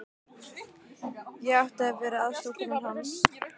Ég átti að vera aðstoðarkona hans.